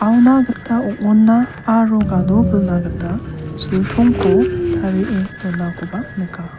auna gita ong·onna aro gadopilna gita siltongko tarie donakoba nika.